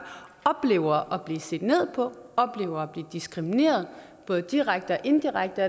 oplever at blive set ned på oplever at blive diskrimineret både direkte og indirekte